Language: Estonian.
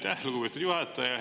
Aitäh, lugupeetud juhataja!